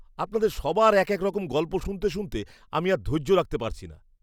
আপনাদের সবার এক এক রকম গল্প শুনতে শুনতে আমি আর ধৈর্য রাখতে পারছি না।